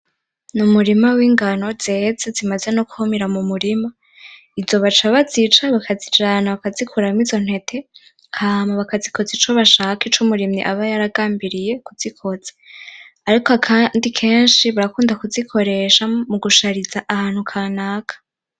Ni umurima w’ingano zeze, zimaze no kw'umira mu murima. Izo baca bazica, bakazijana, bakazikuramwo izo ntete, hama bakazikoza ico bashaka, ico umurimyi aba yaragambiriye kuzikoza. Ariko akandi kenshi barakunda kuzikoresha mu gushariza ahantu kanaka.